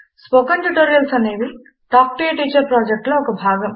spoken tutorials అనేవి talk to a teacher project లో ఒక భాగము